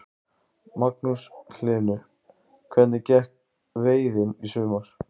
Magnús Hlynur: Hvernig gekk veiðin í sumar?